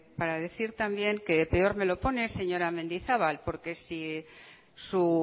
para decir también que peor me lo pone señora mendizabal porque si su